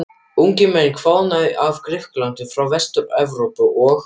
Ungir menn hvaðanæva af Grikklandi, frá Vestur-Evrópu og